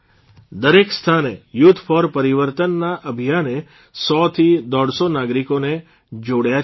દરેક સ્થાને youth for પરિવર્તનના અભિયાને સો થી દોઢસો નાગરિકોને જોડ્યા છે